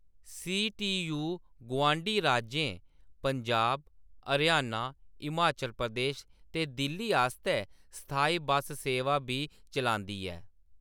C. T. U. गुआंढी राज्यें पंजाब, हरियाणा, हिमाचल प्रदेश ते दिल्ली आस्तै स्थायी बस सेवां बी चलांदा ऐ।